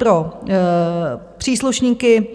Pro příslušníky